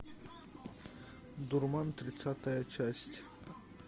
дурман тридцатая часть